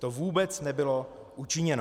To vůbec nebylo učiněno.